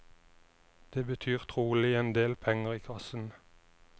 Det betyr trolig en del penger i kassen.